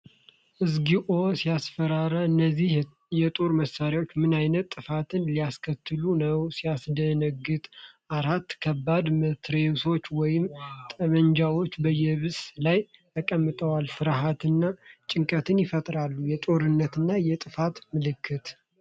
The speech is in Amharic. እግዚኦ ሲያስፈራ! እነዚህ የጦር መሳሪያዎች ምን ዓይነት ጥፋት ሊያስከትሉ ነው፡፡ ሲያስደነግጥ! አራት ከባድ መትረየሶች ወይም ጠመንጃዎች በየብስ ላይ ተቀምጠዋል። ፍርሃትንና ጭንቀትን ይፈጥራሉ። የጦርነትና የጥፋት ምልክት!